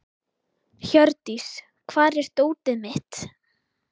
Hjördís, hvar er dótið mitt?